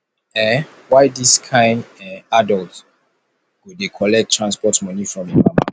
um why dis kain um adult go dey collect transport moni from im mama